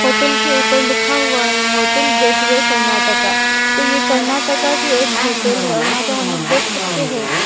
hotel के ऊपर लिखा हुआ है होटल गेटवे कर्नाटका तो ये कर्नाटका की एक होटल है और यहां पर हम लोग देख सकते हैं --